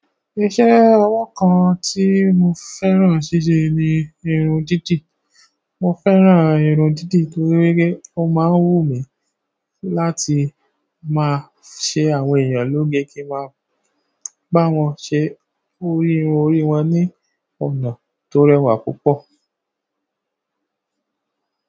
Iṣẹ́ ọwọ́ kan tí mo fẹ́ràn ṣíṣe ni irun dídì. Mo fẹ́ràn irun dídì torí pé ó máa ń wù mí láti máa ṣe àwọn èèyàn lóge kí n máa bá wọn ṣe orí-- irun orí wọn ní ọ̀nà tó rẹwà púpọ̀.